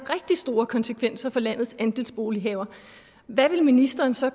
store konsekvenser for landets andelsbolighavere hvad ministeren så